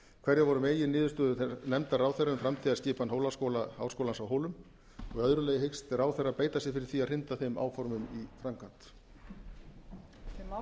hverjar voru meginniðurstöður nefndar ráðherra um framtíðarskipan háskólans á hólum og í öðru lagi hyggst ráðherra beita sér fyrir því að hrinda þeim áformum í framkvæmd